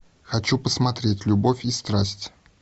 хочу посмотреть любовь и страсть